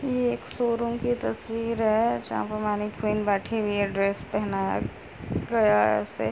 ये एक शोरूम की तस्वीर है जहाँ पर मनीकुईन बैठी हुई है ड्रेस पहनाया गया है उसे।